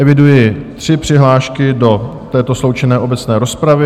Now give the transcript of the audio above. Eviduji tři přihlášky do této sloučené obecné rozpravy.